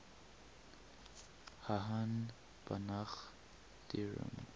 hahn banach theorem